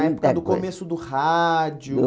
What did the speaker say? A época do começo do rádio.